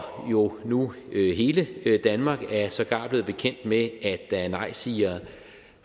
jo nu hele danmark er sågar blevet bekendt med at der er nejsigere